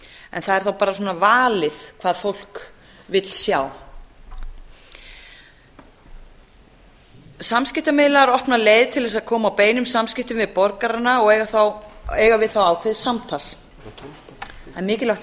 en það er þá bara svona valið hvað fólk vill sjá samskiptamiðlar opna leið til þess að koma á beinum samskiptum við borgarana og eiga við þá ákveðið samtal það er mikilvægt að